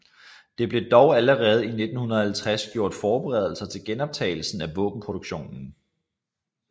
Der blev dog allerede i 1950 gjort forberedelser til genoptagelsen af våbenproduktionen